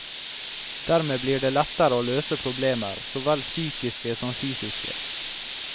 Dermed blir det lettere å løse problemer, så vel psykiske som fysiske.